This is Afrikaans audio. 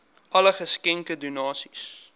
alle geskenke donasies